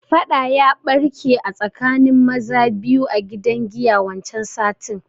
Baɗa ya barke a tsakanin maza biyu a gidan giya wancan satin